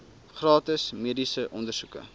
gratis mediese ondersoeke